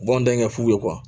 U b'anw dɛmɛ f'u ye